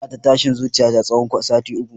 Ina ta tashin zuciya tsawon sati uku